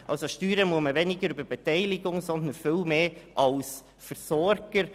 Man muss weniger über die Beteiligung steuern als über die Versorgung.